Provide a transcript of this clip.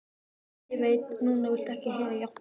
Ég veit að núna viltu ekki heyra játningu mína.